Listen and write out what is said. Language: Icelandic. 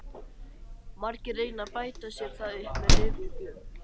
Margir reyna að bæta sér það upp með lyfjagjöf.